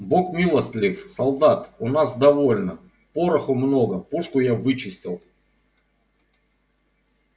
бог милостив солдат у нас довольно пороху много пушку я вычистил